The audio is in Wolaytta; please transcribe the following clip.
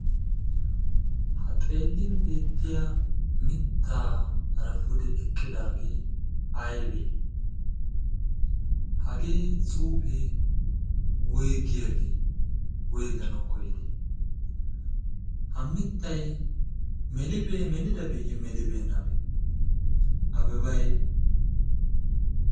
ha xeellin beettiya mittaaara pude eqqidaagee aybee hagee cuufee woygiyaagee woyganawu koyidee ha mittay melibee melidabeeyye melibeennabee abebay